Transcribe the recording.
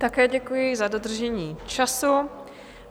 Také děkuji za dodržení času.